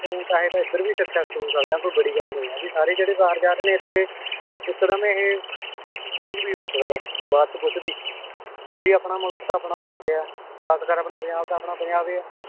ਤੂੰ ਚਾਹੇਂ ਤਾਂ ਏਧਰ ਵੀ successful ਹੋ ਸਕਦਾ ਏਂ ਕੋਈ ਬੜੀ ਗੱਲ ਨਈ ਹੈਗੀ ਸਾਰੇ ਜਿਹੜੇ ਬਾਹਰ ਜਾਰੇ ਨੇ ਇਥੇ ਇਕਦਮ ਇਹ change ਵੀ ਹੋ ਸਕਦਾ ਬਾਅਦ ਚ ਕੁਛ ਵੀ ਬੀ ਆਪਣਾ ਮੁਲਕ ਤਾਂ ਆਪਣਾ ਮੁਲਕ ਯਾ ਖ਼ਾਸਕਰ ਆਪਣਾ ਪੰਜਾਬ ਤਾਂ ਆਪਣਾ ਪੰਜਾਬ ਈ ਏ